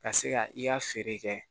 Ka se ka i ka feere kɛ